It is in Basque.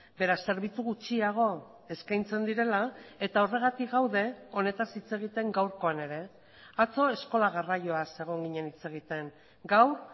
beraz zerbitzu gutxiago eskaintzen direla eta horregatik gaude honetaz hitz egiten gaurkoan ere atzo eskola garraioaz egon ginen hitz egiten gaur